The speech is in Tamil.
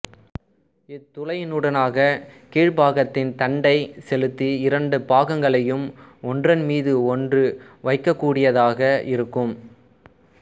இத் துளையினூடாகக் கீழ்ப் பாகத்தின் தண்டைச் செலுத்தி இரண்டு பாகங்களையும் ஒன்றன்மீது ஒன்று வைக்கக்கூடியதாக இருக்கும்